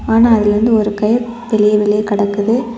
ஆனா அதுலருந்து ஓரு கையிர் வெளிய வெளியே கடக்குது.